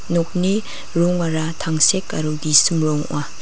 nokni rongara tangsek aro gisim rong ong·a.